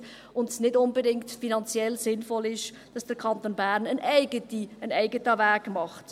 Es ist nicht unbedingt finanziell sinnvoll, dass der Kanton Bern einen eigenen Weg geht.